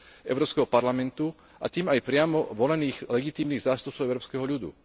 Európskeho parlamentu, a tým aj priamo volených legitímnych zástupcov európskeho ľudu.